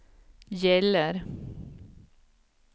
gäller